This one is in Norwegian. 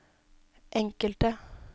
enkelte